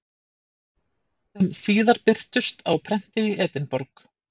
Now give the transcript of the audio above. sem síðar birtust á prenti í Edinborg.